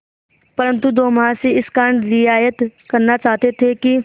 परंतु दो महाशय इस कारण रियायत करना चाहते थे कि